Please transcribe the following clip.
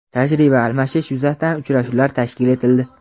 tajriba almashish yuzasidan uchrashuvlar tashkil etildi.